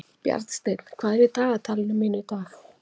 Bjarnsteinn, hvað er í dagatalinu mínu í dag?